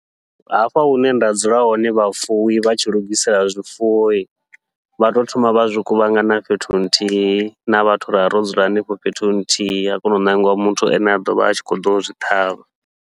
Hafha hune nda dzula hone vhafuwi vha tshi lugisela zwifuwo, vha tou thoma vha zwi kuvhangana fhethu nthihi na vhathu ravha ro dzula henefho fhethu nthihi, ha kona u ṋangiwa muthu ane a ḓovha a tshi khou ḓo zwi ṱhavha.